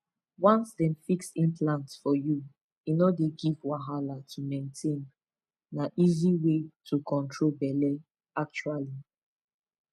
once dem fix implant for you e no dey give wahala to maintain na easy way to control belle actually